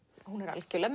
algjörlega